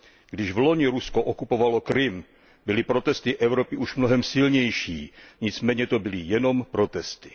Když vloni Rusko okupovalo Krym, byly protesty Evropy už mnohem silnější, nicméně to byly jenom protesty.